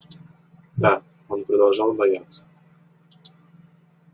да он продолжал бояться